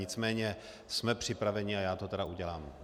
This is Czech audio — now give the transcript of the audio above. Nicméně jsme připraveni a já to tedy udělám.